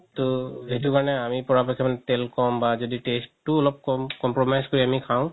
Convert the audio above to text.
তৌ সেইটো কাৰণে মানে পৰা পক্ষে তেল ক'ম বা যদি taste তো অলপ compromise কৰি খাও